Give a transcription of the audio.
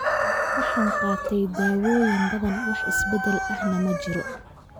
Waxaan qaatay dawooyin badan, wax isbedel ahna ma jiro